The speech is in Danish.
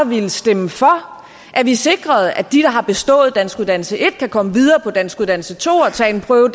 ville stemme for at vi sikrede at de der har bestået danskuddannelse en kan komme videre på danskuddannelse to og tage en prøve